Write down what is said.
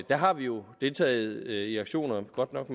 der har vi jo deltaget i aktioner godt nok